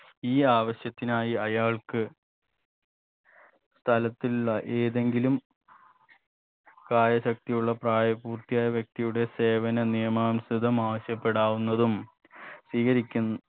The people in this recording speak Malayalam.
ഈ ആവശ്യത്തിനായി അയാൾക്ക് സ്ഥലത്തിലുള്ള ഏതെങ്കിലും കായ ശക്തിയുള്ള പ്രായപൂർത്തിയായ വ്യക്തിയുടെ സേവന നിയമാംസൃതമാവാശ്യപ്പെടാവുന്നതും സ്വീകരിക്കുന്ന്